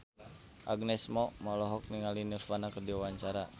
Agnes Mo olohok ningali Nirvana keur diwawancara